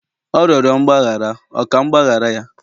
ọ rịọrọ mgbaghara, ọ ka m ga-agbaghara ya?